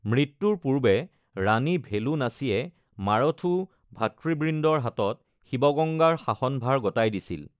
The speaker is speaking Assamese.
মৃত্যুৰ পূৰ্বে ৰাণী ভেলু নাচীয়ে মাৰুথু ভাতৃবৃন্দৰ হাতত শিবগঙ্গাৰ শাসনভাৰ গতাই দিছিল।